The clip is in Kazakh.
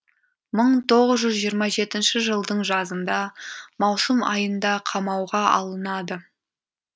мың тоғыз жүз жиырма жетінші жылдың жазында маусым айында қамауға алынады